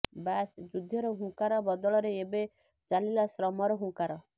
ବାସ୍ ଯୁଦ୍ଧର ହୁଙ୍କାର ବଦଳରେ ଏବେ ଚାଲିଲା ଶ୍ରମର ହୁଙ୍କାର